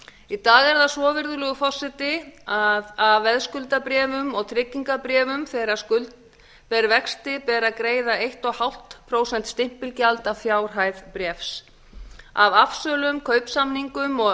í dag er það svo virðulegur forseti að af veðskuldabréfum og tryggingabréfum þegar skuld ber vexti ber að greiða eins og hálft prósent stimpilgjald af fjárhæð bréfs af afsölum kaupsamningum og